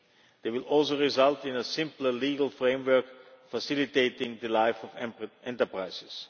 They will also result in a simpler legal framework facilitating the life of enterprises.